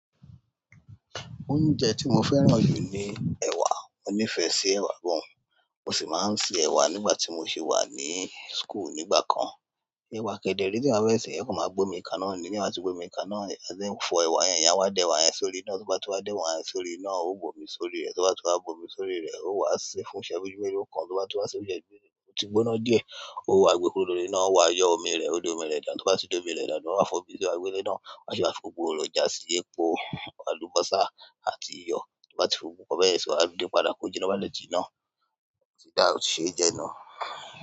Oúnjẹ tí mo fẹ́ràn jù ni ewa. Mo nífẹ̀ẹ́ sí èwà gan. Mo sì máa sẹ ẹ̀wà nígbà tí mo ṣe wà ní school nígbà kan. Ẹ̀wà kede re tí a fẹ́ sè ẹ́ kò máa gbómi kaná ní. Ti eyan bà tí ó gbé omi kaná, a máa ṣe fọ ẹ̀wà yẹn. Eyán wa dẹ ẹ̀wà yẹn sórí iná. Tí wọ́n bá ti wá dẹ ẹ̀wà yẹn sórí iná, ó bómi sórí rẹ̀. Tí wọ́n bá ti wá gbómi sórí rẹ̀, ó wá ṣe fúnṣẹ isejú melo kan. Tí wọ́n bá ti wá ṣe oúnjẹ yi, ó ti gbóná díẹ̀. Ó wá gbe kúrò lórí iná, ó wá yọ omi rẹ̀. Ó dá omi rẹ̀ dànu. Tí wọ́n bá ti dó omi rẹ̀ dàn náà, ó máa fọ́ omi ti wá gbé lé náà. A se wa fi gbogbo èròjà síye, epò àlùbọ́sà àti iyọ̀. Tí wọ́n bá ti fi gbogbo bẹ́ẹ̀ sọ, a dín pádà kó jiná to bá le jí iná, ó ti dára láti ṣe jẹun nuu.